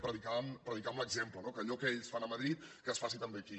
predicar amb l’exemple que allò que ells fan a madrid que es faci també aquí